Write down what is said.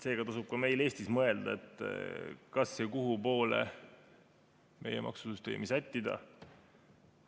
Seega tasub ka meil Eestis mõelda, kas ja kuhu poole meie maksusüsteemi sättida.